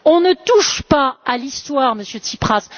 On ne touche pas à l'histoire, Monsieur Tsipras!